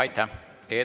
Aitäh!